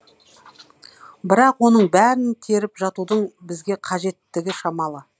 бірақ оның бәрін теріп жатудың бізге қажеттігі шамалы